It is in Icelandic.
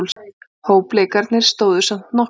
Hópleikirnir stóðu samt nokkuð lengi.